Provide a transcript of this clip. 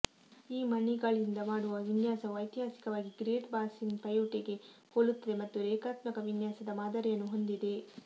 ಈ ಮಣಿಗಳಿಂದ ಮಾಡುವ ವಿನ್ಯಾಸವು ಐತಿಹಾಸಿಕವಾಗಿ ಗ್ರೇಟ್ ಬಾಸಿನ್ ಪೈಯುಟೆಗೆ ಹೋಲುತ್ತದೆ ಮತ್ತು ರೇಖಾತ್ಮಕ ವಿನ್ಯಾಸದ ಮಾದರಿಯನ್ನು ಹೊಂದಿದೆ